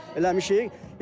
Eləmişik.